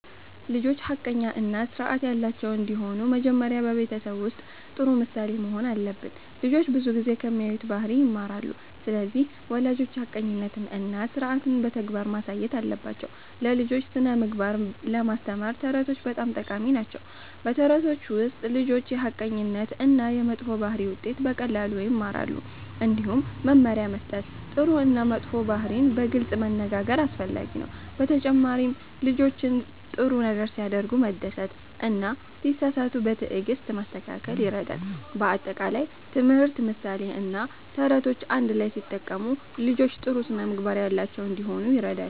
ልጆች ሐቀኛ እና ስርዓት ያላቸው እንዲሆኑ መጀመሪያ በቤተሰብ ውስጥ ጥሩ ምሳሌ መሆን አለብን። ልጆች ብዙ ጊዜ ከሚያዩት ባህሪ ይማራሉ። ስለዚህ ወላጆች ሐቀኝነትን እና ስርዓትን በተግባር ማሳየት አለባቸው። ለልጆች ስነ-ምግባር ለማስተማር ተረቶች በጣም ጠቃሚ ናቸው። በተረቶች ውስጥ ልጆች የሐቀኝነት እና የመጥፎ ባህሪ ውጤት በቀላሉ ይማራሉ። እንዲሁም መመሪያ መስጠት፣ ጥሩ እና መጥፎ ባህሪን በግልጽ መነጋገር አስፈላጊ ነው። በተጨማሪም ልጆችን ሲያደርጉ ጥሩ ነገር መደሰት እና ሲሳሳቱ በትዕግስት ማስተካከል ይረዳል። በአጠቃላይ ትምህርት፣ ምሳሌ እና ተረቶች አንድ ላይ ሲጠቀሙ ልጆች ጥሩ ስነ-ምግባር ያላቸው እንዲሆኑ ይረዳል።